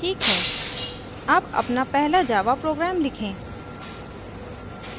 ठिक है अब अपना पहला java program लिखें